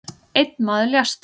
Einn maður lést